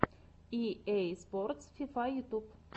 и эй спортс фифа ютюб